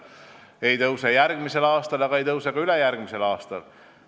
See ei tõuse järgmisel aastal ega tõuse ka ülejärgmisel aastal.